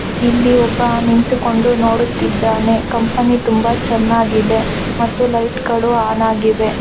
ಇಲ್ಲಿ ಒಬ್ಬ ನಿಂತುಕೊಂಡು ನೋಡುತ್ತಿದ್ದಾನೆ ಕಂಪನಿ ತುಂಬಾ ಚೆನ್ನಾಗಿದೆ ಮತ್ತೆ ಲೈಟ್ ಗಳು ಆನ್ ಆಗಿದ್ದಾವೆ